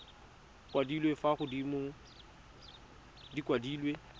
kwadilwe fa godimo di kwadilwe